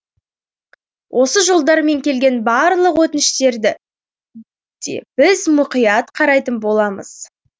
осы жолдармен келген барлық өтініштерді де біз мұқият қарайтын боламыз